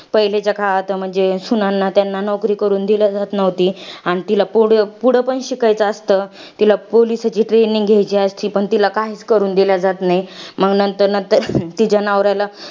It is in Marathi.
पहिलीच्या काळात, म्हणजे सुनांना त्यांना नोकरी करून दिलं जात नव्हती. आणि तिला पुढ पुढं पण शिकायचं असतं. तिला police ची training घ्यायची असती, पण तिला काहीच करून दिलं जात नाही. मग नंतर नंतर तिच्या नवऱ्याला